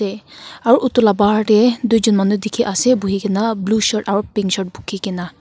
te aro edu la bahar tae tuijon manu dikhiase buhikaena blue shirt aro pink shirt bukhikae na.